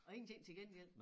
Og ingenting til gengæld